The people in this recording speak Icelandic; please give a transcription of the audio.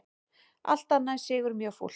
Allt annað en sigur mjög fúlt